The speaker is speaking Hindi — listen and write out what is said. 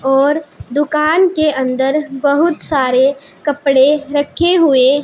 और दुकान के अंदर बहुत सारे कपड़े रखे हुए --